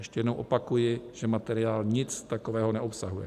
Ještě jednou opakuji, ten materiál nic takového neobsahuje.